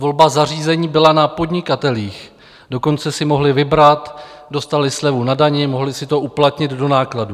Volba zařízení byla na podnikatelích, dokonce si mohli vybrat, dostali slevu na dani, mohli si to uplatnit do nákladů.